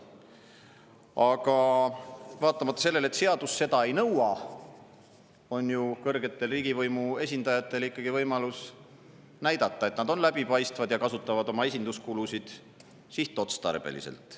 Aga vaatamata sellele, et seadus seda ei nõua, on kõrgetel riigivõimu esindajatel ikkagi võimalus näidata, et nende on läbipaistev ja nad kasutavad esinduskuludeks sihtotstarbeliselt.